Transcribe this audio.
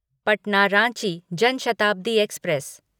Patna Ranchi Jan Shatabdi express